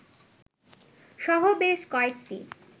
সহ বেশ কয়েকটি